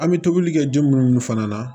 An bɛ tobili kɛ den munnu fana na